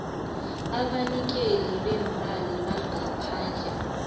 abanikeli beemali bangaphandle